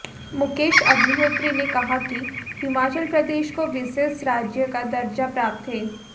मुकेश अग्निहोत्री ने कहा कि हिमाचल प्रदेश को विशेष राज्य का दर्जा प्राप्त है